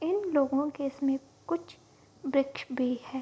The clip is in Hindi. इन लोगो के समीप कुछ वृक्ष भी है।